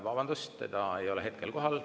Vabandust, teda ei ole hetkel kohal.